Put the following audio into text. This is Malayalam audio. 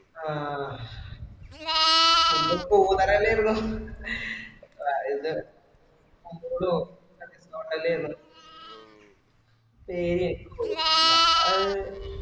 ആ ഒന്ന് പോനതലേ ഉള്ളു ഇത് hotel പേര് എനിക്ക് ഓർമില്ല